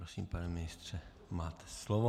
Prosím, pane ministře, máte slovo.